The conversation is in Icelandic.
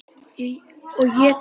Og étið gras.